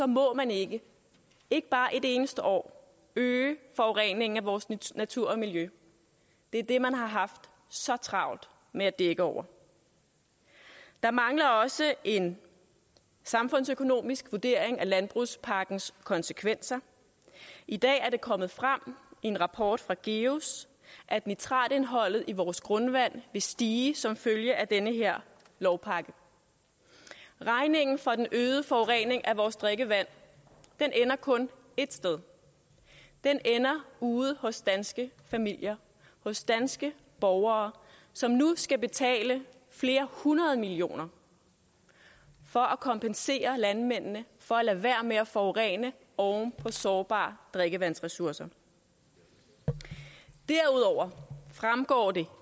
må man ikke ikke bare et eneste år øge forureningen af vores natur og miljø det er det man har haft så travlt med at dække over der mangler også en samfundsøkonomisk vurdering af landbrugspakkens konsekvenser i dag er det kommet frem i en rapport fra geus at nitratindholdet i vores grundvand vil stige som følge af den her lovpakke regningen for den øgede forurening af vores drikkevand ender kun ét sted den ender ude hos danske familier hos danske borgere som nu skal betale flere hundrede millioner for at kompensere landmændene for at lade være med at forurene oven på sårbare drikkevandsressourcer derudover fremgår det